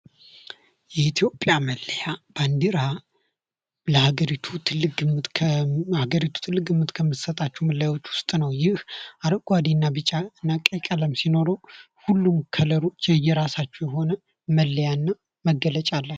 የኢትዮጵያ መለያ ባንዲራ ለአገሪቱ ትልቅ ከአገሪቱ ትልቅ ግምት ከምሰጣችሁ ነገሮች ውስጥ ነው። ይህ አረንጓደና ቢጫ እና ቀይ ቀለም ሲኖረው ሁሉም የየራሳችሁ መለያና መገለጫ አላቸው።